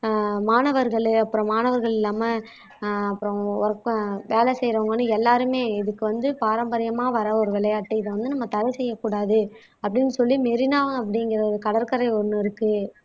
ஆஹ் மாணவர்கள் அப்புறம் மாணவர்கள் இல்லாம ஆஹ் ஒர்க் ப அப்புறம் வேலை செய்யறவங்கன்னு எல்லாருமே இதுக்கு வந்து பாரம்பரியமா வர ஒரு விளையாட்டு இதை வந்து நம்ம தடை செய்யக் கூடாது அப்படின்னு சொல்லி மெரினா அப்படிங்கற ஒரு கடற்கரை ஒண்ணு இருக்கு